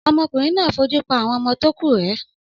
Ọmọkùnrin náà fojú pa àwọn ọmọ tó kù rẹ́.